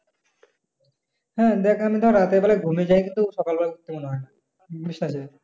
হ্যাঁ দেখ ধর রাতের বেলায় ঘুমের জায়গায় কিন্তু সকাল বেলায় উঠতে মনে হয় না।